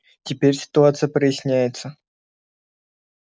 теперь ситуация проясняется